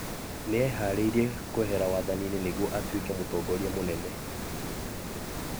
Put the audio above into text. Nĩ eharĩirie kwehera wathani-inĩ nĩguo atuĩke mũtongoria mũnene.